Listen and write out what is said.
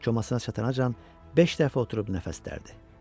Komasına çatancan beş dəfə oturub nəfəsdərdi.